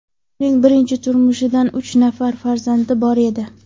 Uning birinchi turmushidan uch nafar farzandi bor edi.